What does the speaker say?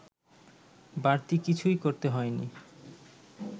বাড়তি কিছুই করতে হয়নি